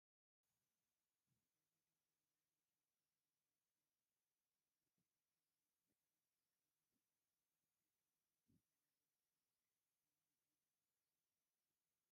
እዚ ዱንካን ናይ መሸጢ እዩ ዝመስል ኣብቲ ደገ ምንፃፍ ተዘርጊሑ ኣሎ ኣብቲ ኣፍ ደገ'ውን መላለይ ፅሑፋት እንሄ፡ እንዳ እንታይ መሸጢ ይኾን ?